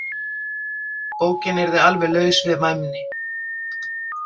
Bókin yrði alveg laus við væmni.